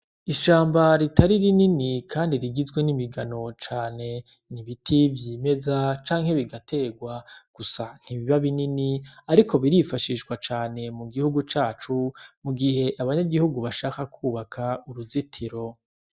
Ishamba ritari rinini kandi rigizwe nimigano cane, nibiti vyimeza, canke bigategwa, gusa ntibiba binini, ariko birifashishwa cane mugihugu cacu, mugihe abanyagihugu bashaka kwubaka uruzitiro.